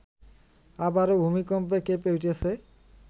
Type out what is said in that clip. আবারো ভূমিকম্পে কেঁপে উঠেছে